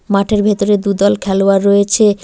মাঠের ভেতরে দু'দল খেলোয়াড় রয়েছে।